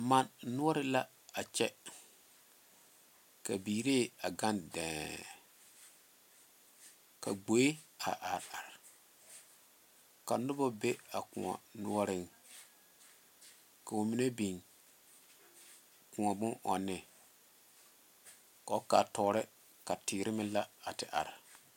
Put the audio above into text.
Mane noɔre la a kyɛ ka biiree a gaŋ dɛɛŋ ka gboe a are are ka noba be a koɔ noɔreŋ ka ba mine biŋ koɔ bonɔŋne kɔɔ kaa tɔɔre ka teere meŋ la a te are.